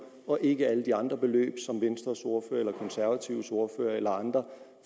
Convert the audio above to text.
og ikke alle de andre beløb som venstres ordfører eller de konservatives ordfører eller andre